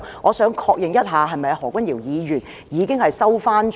我想確認一下，何君堯議員是否已經收回他的說話？